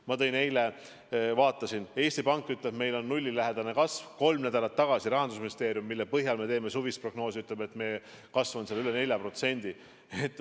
Ma eile vaatasin, Eesti Pank ütleb, et meil on nullilähedane kasv, kolm nädalat tagasi Rahandusministeerium ütles – selle põhjal me tegime suvist prognoosi –, et kasv on üle 4%.